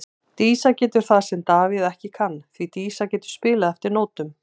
Dísa getur það sem að Davíð ekki kann, því Dísa getur spilað eftir nótum.